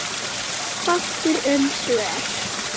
Fátt er um svör.